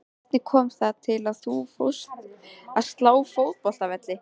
Hvernig kom það til að þú fórst að slá fótboltavelli?